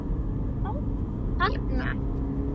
Ó: Þerna?